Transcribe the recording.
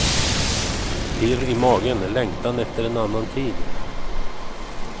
Pirr i magen, längtan efter en annan tid.